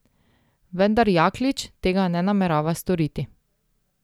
Vendar Jaklič tega ne namerava storiti.